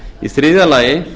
í þriðja lagi